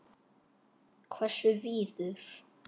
Hversu víður?